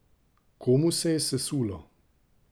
Komu se je sesulo?